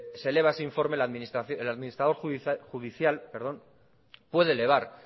se eleva ese informe el administrador judicial puede elevar